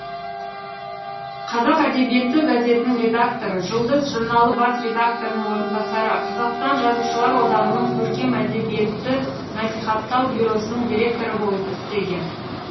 қазақ әдебиеті газетінің редакторы жұлдыз журналы бас редакторының орынбасары қазақстан жазушылар одағының көркем әдебиетті насихаттау бюросының директоры болып істеген